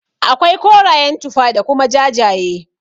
Akwai korayen tufa da kuma jajaye.